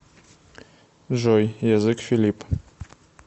джой язык филипп